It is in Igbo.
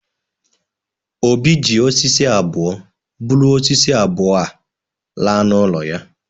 Obi ji osisi abụọ buru osisi abụọ a laa n’ụlọ ya